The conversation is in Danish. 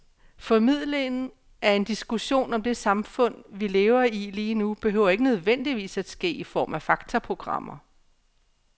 Formidlingen af en diskussion om det samfund, vi lever i lige nu, behøver ikke nødvendigvis at ske i form af faktaprogrammer.